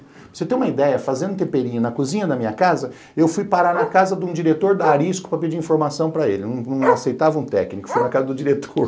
Para você ter uma ideia, fazendo temperinho na cozinha da minha casa, eu fui parar na casa de um diretor da Arisco para pedir informação para ele, não não aceitava um técnico, fui na casa do diretor.